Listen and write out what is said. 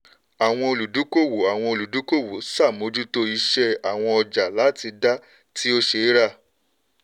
àwọn olùdúkòwò àwọn olùdúkòwò ṣàmójútó ìsẹ àwọn ọjà láti dá tí ó ṣeéra.